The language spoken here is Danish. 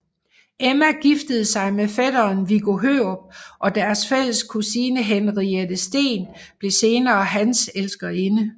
Emma giftede sig med fætteren Viggo Hørup og deres fælles kusine Henriette Steen blev senere hans elskerinde